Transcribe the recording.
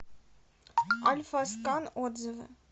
альфаскан отзывы